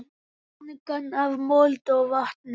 Angan af mold og vatni.